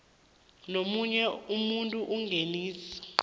nomunye umuntu ingeniso